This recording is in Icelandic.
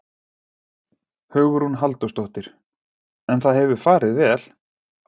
Hugrún Halldórsdóttir: En það hefur farið vel?